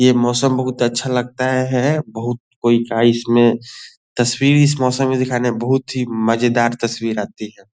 ये मौसम बहुत अच्छा लगता है बहुत कोई इसमें तस्वीर इस मौसम में दिखाने में बहुत ही मजेदार तस्वीर आती है ।